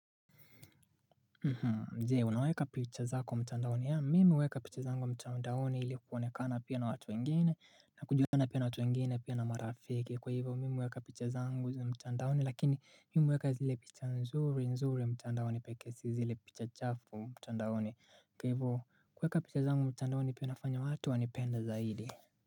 Jee unaweka picha zako mchandaoni yaa mimi uweka picha zangu mtandaoni ili kuponekana pia na watu wengine na kujulikana pia na watu wengine pia na marafiki kwa hivyo mimi huweka picha zangu mtandaoni lakini mimi huweka zile picha nzuri nzuri mtandaoni peke si zile picha chafu mtandaoni kwa hivo kuweka picha zangu mtandaoni pia nafanya watu wanipenda za idi.